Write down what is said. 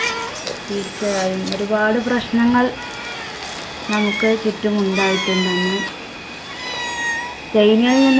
തീർച്ചയായും ഒരുപാട് പ്രശ്നങ്ങൾ നമുക്ക് ചുറ്റും ഉണ്ടായിട്ടുണ്ട് അന്ന്. ചൈനയില്‍ നിന്നും